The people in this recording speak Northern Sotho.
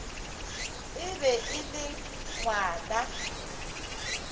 e be e le ngwana